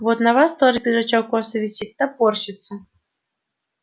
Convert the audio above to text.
вот на вас тоже пиджачок косо висит топорщится